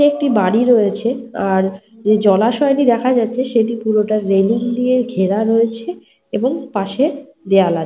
একটি বাড়ি রয়েছে। আর যে জলাশয় টি দেখা যাচ্ছে সেটি পুরোটা রেলিং দিয়ে ঘেরা রয়েছে। এবং পাশে দেওয়াল আছে।